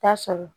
Taa sɔrɔ